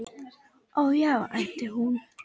Ó, já, æpti hún.